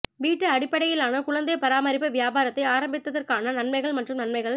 வீட்டு அடிப்படையிலான குழந்தை பராமரிப்பு வியாபாரத்தை ஆரம்பிப்பதற்கான நன்மைகள் மற்றும் நன்மைகள்